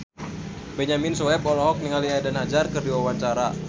Benyamin Sueb olohok ningali Eden Hazard keur diwawancara